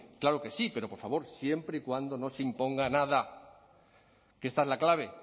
claro que sí pero por favor siempre y cuando no se imponga nada que esta es la clave